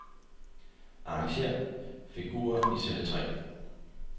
Arrangér figurer i celle tre.